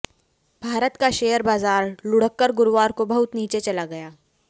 भारत का शेयर बाजार लुढ़कर गुरुवार को बहुत नीचे चला गया